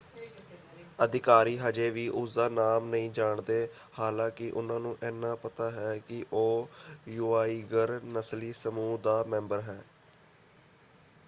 ਅਧਿਕਾਰੀ ਹਜੇ ਵੀ ਉਸਦਾ ਨਾਮ ਨਹੀਂ ਜਾਣਦੇ ਹਾਲਾਂਕਿ ਉਹਨਾਂ ਨੂੰ ਇਹਨਾਂ ਪਤਾ ਹੈ ਕਿ ਉਹ ਯੂਆਇਗਰ ਨਸਲੀ ਸਮੂਹ ਦਾ ਮੈਂਬਰ ਹੈ।